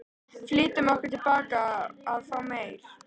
Flýttum okkur tilbaka að fá meir.